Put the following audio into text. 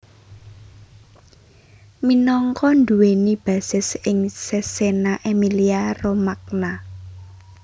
Minangka nduwèni basis ing Cesena Emilia Romagna